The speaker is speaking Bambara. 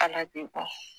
Ala bɛ bɔ